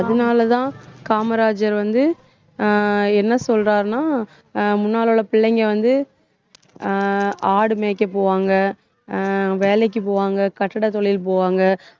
அதனாலதான் காமராஜர் வந்து அஹ் என்ன சொல்றாருன்னா அஹ் முன்னால உள்ள பிள்ளைங்க வந்து அஹ் ஆடு மேய்க்க போவாங்க அஹ் வேலைக்கு போவாங்க கட்டிட தொழில் போவாங்க,